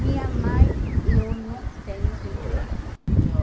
Minha mãe, eu não tenho bem claro. Eu